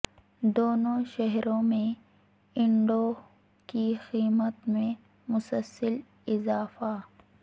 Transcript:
دونوں شہروں میں انڈوں کی قیمت میں مسلسل اضافہ